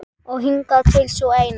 Og hingað til sú eina.